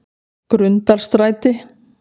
Grundarstræti